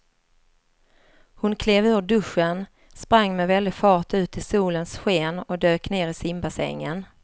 Hon klev ur duschen, sprang med väldig fart ut i solens sken och dök ner i simbassängen.